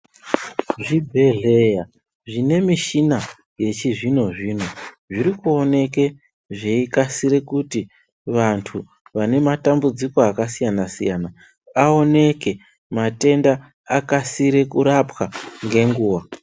Zvibhedhlera zvine muchini yechizvino zvino zvirikuoneke zveikasire kuti vantu vane matambudziko akasiyana siyana aoneke matenda akasire kurapwa ngenguva.